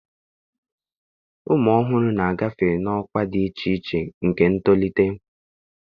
Ụmụ ọhụrụ na-agafe n'ọkwa dị iche iche nke ntolite